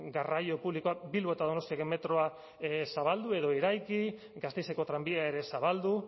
garraio publikoak bilbo eta donostiako metroa zabaldu edo eraiki gasteizko trenbidea ere zabaldu